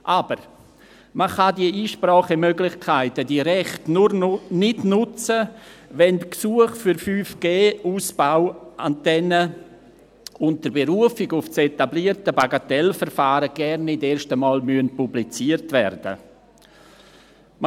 Aber man kann diese Einsprachemöglichkeiten, diese Rechte, nicht nutzen, wenn die Gesuche für 5G-Ausbauantennen unter Berufung auf das etablierte Bagatellverfahren gar nicht erst einmal publiziert werden müssen.